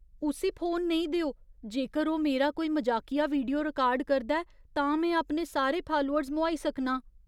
उस्सी फोन नेईं देओ। जेकर ओह् मेरा कोई मजाकिया वीडियो रिकार्ड करदा ऐ, तां में अपने सारे फालोअर्स मोहाई सकनां।